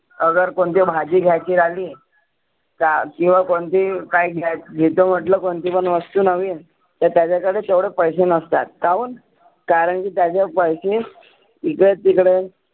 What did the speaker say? आगर कोणती भाजी घ्यायची झाली ता किंवा कोणती ही काय घ्यायचं म्हटलं कोणती पण वस्तू नविन तर त्याच्या कडे तेवढे पैसे नसतात. काहून? कारण की त्याचे पैसे इकडे तिकडे